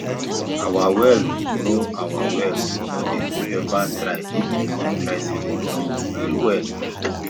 our well no our well no dey ever dry even if dry season long well well